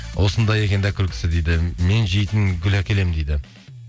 осындай екен де күлкісі дейді мен жейтін гүл әкелемін дейді